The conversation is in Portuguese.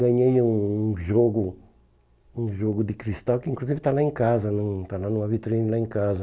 Ganhei um um jogo um jogo de cristal, que inclusive está lá em casa, na está lá numa vitrine lá em casa.